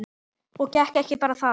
Og ekki bara það.